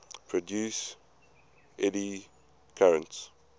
produce eddy currents